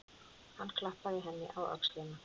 Hann klappaði henni á öxlina.